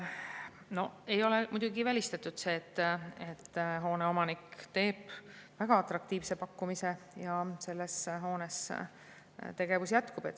No ei ole muidugi välistatud, et hoone omanik teeb väga atraktiivse pakkumise ja selles hoones tegevus jätkub.